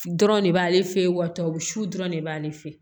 Dɔrɔn de b'ale fɛ yen wa su dɔrɔn de b'ale fɛ